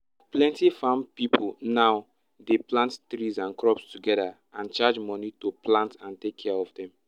plenty farm pipo now dey plant trees and crops together and charge money to plant and take care of dem